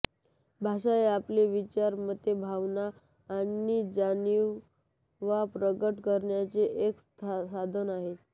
भाषा हे आपले विचार मते भावना आणि जाणिवा प्रगट करण्याचे एक साधन आहे